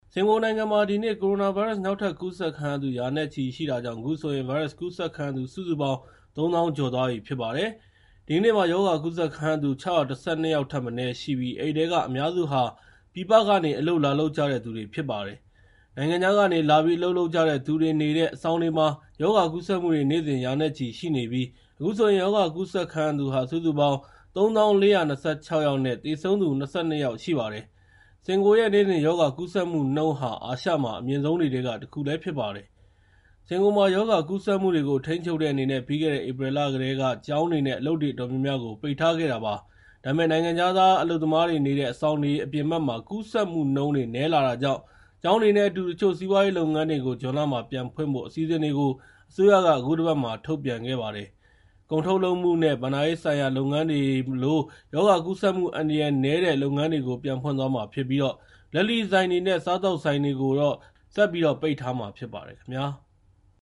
စင်ကာပူနိုင်ငံမှာ ဒီနေ့ ကိုရိုနာဗိုင်းရပ်စ် နောက်ထပ်ကူးစက်ခံရသူ ရာနဲ့ချီရှိတာကြောင့် အခုဆိုရင် ဗိုင်းရပ်စ်ကူးစက်ခံသူ စုစုပေါင်း ၃၀,၀၀၀ ကျော်သွားပြီဖြစ်ပါတယ်။ ဒီကနေ့ ရောဂါကူးစက်ခံရသူ ၆၁၂ ယောက်ထက်မနည်းရှိပြီး အဲဒီထဲက အများစုဟာ ပြည်ပကနေ အလုပ်လာလုပ်ကြတဲ့သူတွေဖြစ်ကြပါတယ်။ နိုင်ငံခြားကနေ လာပြီး အလုပ်လုပ်ကြတဲ့သူတွေနေတဲ့ အဆောင်တွေမှာ ရောဂါကူးစက်မှုတွ နေ့စဉ် ရာနဲ့ချီ ရှိနေပြီး အခုဆိုရင် ရောဂါကူးစက်ခံရသူဟာ စုစုပေါင်း ၃၀,၄၂၆ ယောက်နဲ့ သေဆုံးသူ ၂၂ ယောက်ရှိပါတယ်။ စင်ကာပူရဲ့ နေ့စဉ်ရောဂါကူးစက်မှုနှုန်းဟာ အာရှမှာ အမြင့်ဆုံးတွေထဲကတခုဖြစ်ပါတယ်။ စင်ကာပူမှာ ရောဂါကူးစက်မှုတွေကို ထိန်းချုပ်တဲ့အနေနဲ့ ပြီးခဲ့တဲ့ ဧပြီလကတည်းကကျောင်းတွေ နဲ့ အလုပ်တွေအတော်များများကို ပိတ်ထားတာဖြစ်ပါတယ်။ ဒါပေမဲ့ နိုင်ငံခြားသားအလုပ်သမားတွေနေတဲ့ အဆောင်တွေအပြင်ဘက်မှာ ကူးစက်မှုတွေက နည်းလာတာကြောင့် ကျောင်းတွေနဲ့အတူ တချို့စီးပွားရေးလုပ်ငန်းတွေကို ဇွန်လမှာပြန်ဖွင့်ဖို့အစီအစဉ်တွေကို အစိုးရက အခုတပတ်မှာ ထုတ်ပြန်ခဲ့ပါတယ်။ ကုန်ထုတ်လုပ်မှုနဲ့ ဘဏ္ဍာရေးဆိုင်ရာလုပ်ငန်းတွေလို ရောဂါကူးစက်မှုအန္တရာယ်နည်းတဲ့ လုပ်ငန်းတွေကို ပြန်ဖွင့်သွားမှာဖြစ်ပြီး လက်လီဆိုင်တွေနဲ့ စားသောက်ဆိုင်တွေကိုတော့ ဆက်ပြီးတော့ ပိတ်ထားမှာဖြစ်ပါတယ်ခင်ဗျာ။